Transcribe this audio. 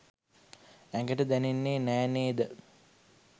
ඇඟට දැනෙන්නේ නෑ නේ ද?